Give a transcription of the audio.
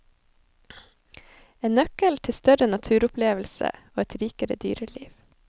En nøkkel til større naturopplevelser og et rikere dyreliv.